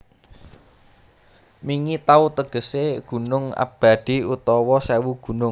Mingi Taw tegesé gunung abadi utawa sèwu gunung